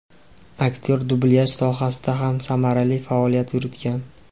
Aktyor dublyaj sohasida ham samarali faoliyat yuritgan.